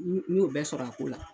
N y'o bɛɛ sɔrɔ a ko la